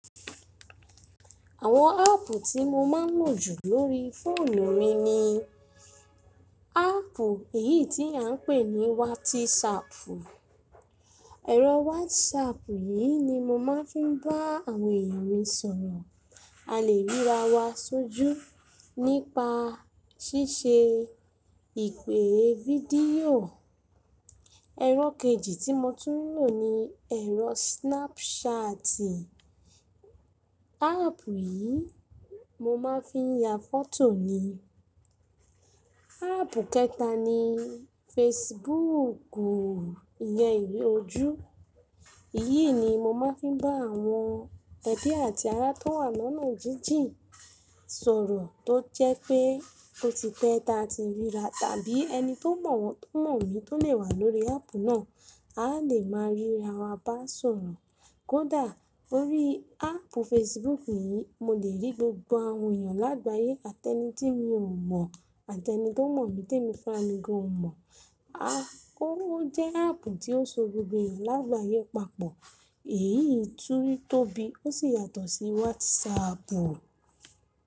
Àwọn áàpù tí mo máa ń lò jù lórí fóònù mi ni, áàpù èyí tí à ń pè ní wátísapù. Ẹ̀rọ wátísapù yìí ni mo máa ń fi ń bá àwọn èèyàn mi sọ̀rọ̀. A lè ríra wa sójú nípa ṣíṣe ìpè fídíò. Ẹ̀rọ kejì tí mo tún ń lò ni ẹ̀rọ snapṣaati. Áàpù yìí mo máa ń fi ya fọ́tò ni. Áàpù kẹta ni fesibuúkù ìyẹn ìle ojú. Èyí ni mo máa ń fi bá àwọn ẹbí àti ará tó wà lọ́nà jíjìn sọ̀rọ̀ tó jẹ́ pé ó ti pẹ́ ta ti ríra tàbí ẹni tó mọ̀ wọ́n tó mọ̀ mi tó lè wà lórí áàpù náà, a lè máa ríra wa bá sọ̀rọ̀. Kódà lórí áàpù fesibuúkù yìí mo lè rí gbogbo àwọn èèyàn lágbàyé àti ẹni tí mi ò mọ̀ àti ẹni tó mọ̀ mi tí èmi fúnra mi gan ò mọ̀. Ó jẹ́ áàpù ti ó so gbogbo èèyàn lágbàyé papọ̀. Èyí tun tóbi ó sì yàtọ̀ sí wátísapù.